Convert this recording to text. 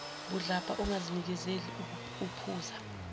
budlabha ongazinakekeli uphuza